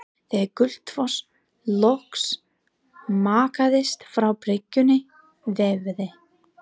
Þegar Gullfoss loks mjakaðist frá bryggjunni veifaði